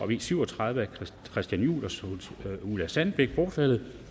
v syv og tredive af christian juhl og ulla sandbæk bortfaldet